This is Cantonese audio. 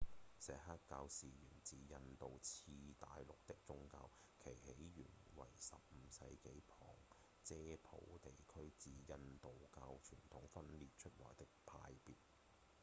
錫克教是源自印度次大陸的宗教其起源為15世紀旁遮普地區自印度教傳統中分裂出來的派別